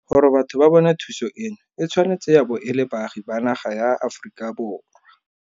Gore batho ba bone thuso eno e tshwanetse ya bo e le baagi ba naga ya Aforika Borwa.